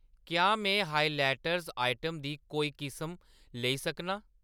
क्या में highlighters item दी कोई किस्म लेई सकनां ?